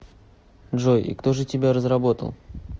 джой и кто же тебя разработал